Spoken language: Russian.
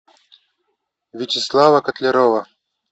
вячеслава котлярова